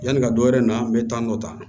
Yani ka dɔwɛrɛ na an bɛ taa nɔ ta